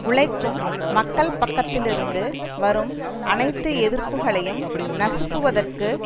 உழைக்கும் மக்கள் பக்கத்திலிருந்து வரும் அனைத்து எதிர்ப்புகளையும் நசுக்குவதற்கு